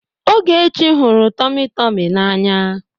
Ogechi hụrụ tọmị tọmị n'anya.